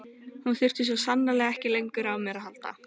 Hún þurfti svo sannarlega ekki lengur á mér að halda.